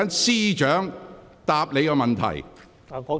司長，你有否補充？